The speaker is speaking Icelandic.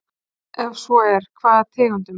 Ef svo er, hvaða tegundum?